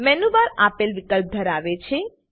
menu bar આપેલ વિકલ્પ ધરાવે છે